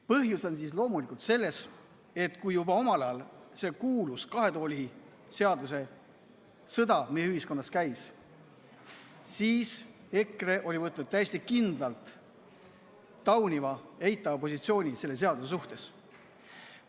Põhjus on loomulikult selles, et kui juba omal ajal see kuulus kahe tooli seaduse sõda meie ühiskonnas käis, siis EKRE võttis täiesti kindlalt tauniva, eitava positsiooni selle seaduse suhtes.